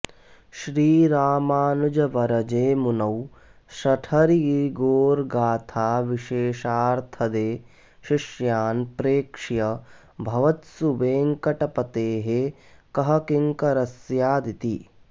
श्रीरामानुजवरजे मुनौ शठरिपोर्गाथा विशेषार्थदे शिष्यान् प्रेक्ष्य भवत्सु वेङ्कटपतेःकःकिङ्करस्स्या दिति